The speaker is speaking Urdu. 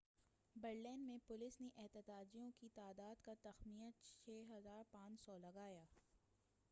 برلین میں پولیس نے احتجاجیوں کی تعداد کا تخمینہ 6,500 لگایا